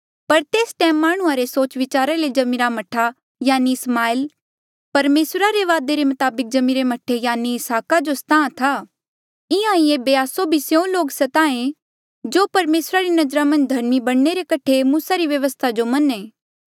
पर तेस टैम माह्णुं रे सोचविचार ले जम्मिरा मह्ठा यानि इसमाएल परमेसरा रे वादे रे मताबक जम्मीरे मह्ठे यानि इसहाका जो स्ताहां था इंहां ही ऐबे आस्सो भी स्यों लोक स्ताहें जो परमेसरा री नजरा मन्झ धर्मी बणने रे कठे मूसा री व्यवस्था जो मन्हें